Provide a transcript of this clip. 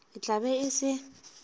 e tla be e se